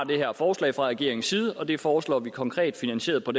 her forslag fra regeringens side det foreslår man konkret finansieret på